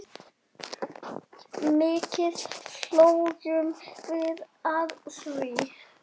Mikið hlógum við að því.